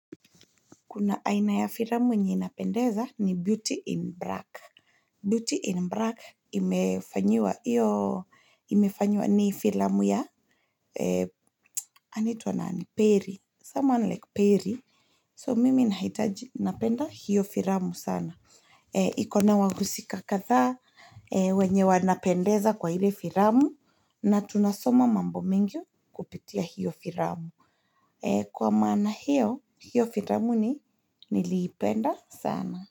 Kuna aina ya firamu enye inapendeza ni Beauty in Black. Beauty in Black imefanyua ni firamu ya, anitua nani Perry, someone like Perry. So mimi nahitaji napenda hiyo firamu sana. Ikona wahusika katha wenye wanapendeza kwa hile firamu na tunasoma mambo mengi kupitia hiyo firamu. Kwa mana hiyo, hiyo firamu ni nilipenda sana.